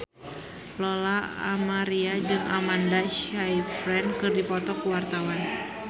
Lola Amaria jeung Amanda Sayfried keur dipoto ku wartawan